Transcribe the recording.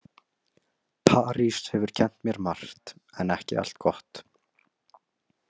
París hefur kennt mér margt en ekki allt gott.